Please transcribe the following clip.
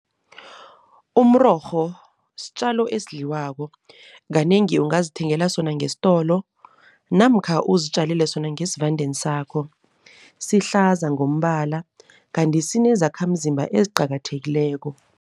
Umrorho sitjalo esidliwako. Kanengi ungazithengela sona ngesitolo namkha uzitjalele sona ngesivandeni sakho, sihlaza ngombala kanti sinezakhamzimba eziqakathekileko.